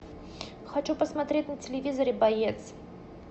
хочу посмотреть на телевизоре боец